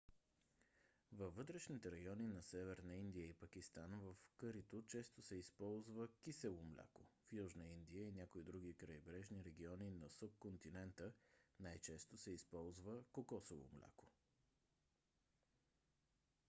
във вътрешните райони на северна индия и пакистан в кърито често се използав кисело мляко; в южна индия и някои други крайбрежни региони на субконтинента най-често се използва кокосово мляко